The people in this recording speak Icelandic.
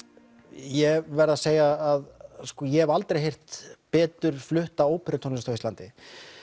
ég verð að segja að ég hef aldrei heyrt betur flutta óperutónlist á Íslandi